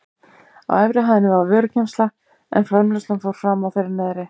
Á efri hæðinni var vörugeymsla en framleiðslan fór fram á þeirri neðri.